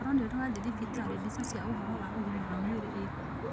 Koro nĩ ũrĩ wathie thibitarĩ, mbica cia ũhoro wa ũgima wa mwĩrĩ ĩkuo.